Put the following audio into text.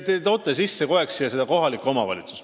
Te toote siia kogu aeg sisse kohaliku omavalitsuse.